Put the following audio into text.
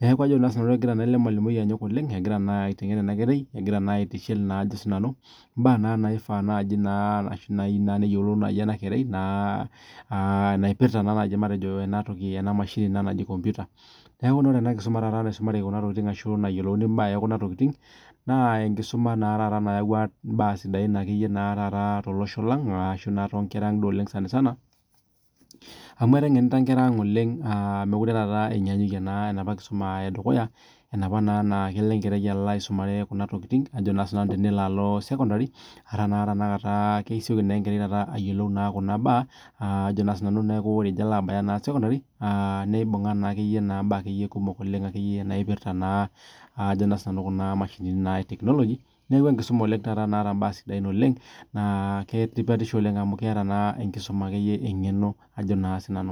negira. Elemalimui aitengen enkerai aitishil mbaa na naifaa nai peyiolou enakerai naipirta na enamashini naji nkomputa neaku ore ore enakisuma nayiolouni kunatokitin na enkisuma nayau mbaa sidain tolosho lang amu etengena nkera aang oleng melure enyanyikie enaapa kisuka edukuya mekute etiu anaa enaapa kisuma edukuya kunatokitin kesioki enkerai ayiolou kunabaa naipirta kuna mashinini e technology neaku enkisuma naata tipat oleng amu keeta enkisuma ekeyie engeno ajo na sinanu